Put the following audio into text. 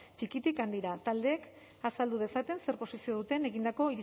txikitik handira taldeek azaldu dezaten zer posizio duten egindako